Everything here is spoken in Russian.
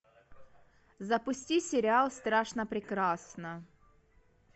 запусти сериал страшно прекрасна